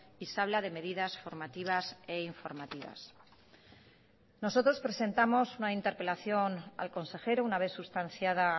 y se habla de medidas formativas e informativas nosotros presentamos una interpelación al consejero una vez sustanciada